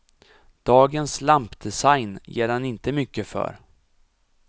Dagens lampdesign ger han inte mycket för.